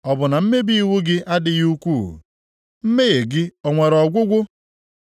Ọ bụ na mmebi iwu gị adịghị ukwuu? Mmehie gị o nwere ọgwụgwụ?